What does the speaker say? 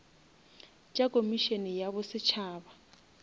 tša komišene ya bo setšhaba